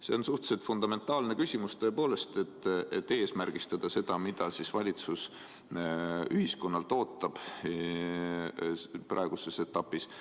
See on suhteliselt fundamentaalne küsimus tõepoolest, kuidas eesmärgistada seda, mida valitsus ühiskonnalt ootab praeguses etapis.